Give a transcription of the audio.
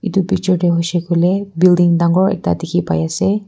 Tu picture tey hoishe koile building dangor ekta dekhi pai ase.